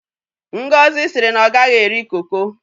ngozi siri na o gaghi eri koko